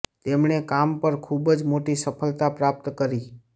તેમણે કામ પર ખૂબ જ મોટી સફળતા પ્રાપ્ત કરી